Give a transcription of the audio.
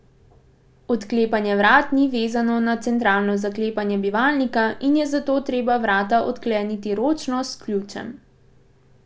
Odklepanje vrat ni vezano na centralno zaklepanje bivalnika in je zato treba vrata odkleniti ročno s ključem.